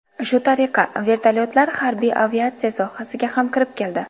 Shu tariqa, vertolyotlar harbiy aviatsiya sohasiga ham kirib keldi.